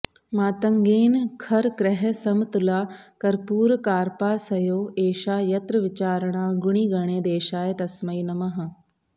मातङ्गेन खर क्रयः समतुला कर्पूरकार्पासयोः एषा यत्र विचारणा गुणिगणे देशाय तस्मै नमः